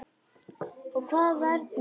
Og hvað, hvernig var?